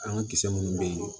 An ka kisɛ munnu bɛ ye